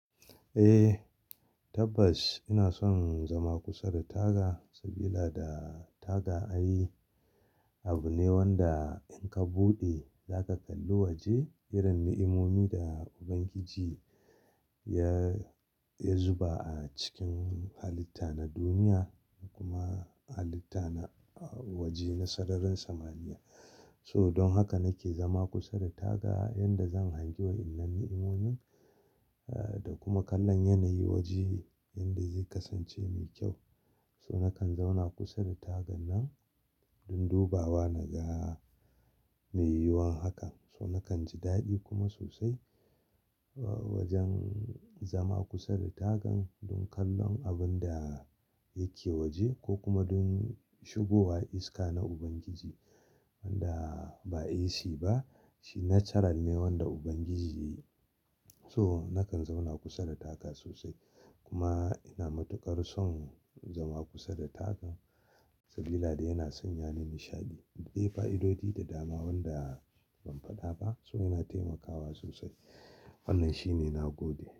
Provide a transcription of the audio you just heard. Eh tabbas ina son zama kusa da taga, saboda taga an yi abu ne wanda in ka buɗe za ka kalli waje, irin na'imomi da Ubangiji ya, ya zuba a cikin halitta na duniya kuma halitta na waje na sararin samaniya. So don haka nake zama kusa da taga yanda zan hangi wa'innan na'imomin eh da kuma kallon yanayi waje yanda zai kasance mai kyau. So nakan zauna kusa da tagan nan don dubawa na ga mai yiwuwan hakan. So nakan ji daɗi kuma sosai wajen zama kusa da tagan don kallon abun da yake waje ko kuma don shigowa iska na Ubangiji wanda ba AC ba shi natural ne wanda Ubangiji ya yi. So nakan zauna kusa da taga sosai kuma ina matukar son zama kusa da taga saboda yana sanya ni nishaɗi. Ɗaya fa'idodi da dama wanda ban faɗa ba. So yana taimakawa sosai. Wannan shine na gode.